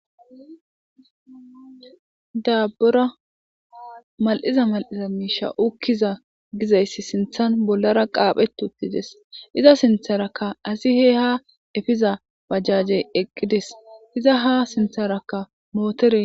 daabbura mal7iza mal7iza miisha ukkiza gizayssi sinthan bollara qaaphetutides iza sintharakka asihe ha efiza bajajey eqqides iza ha sintharakka mootere